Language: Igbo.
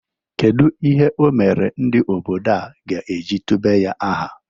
Kedu ihe o mere ndị obodo a ga-eji tube ya aha?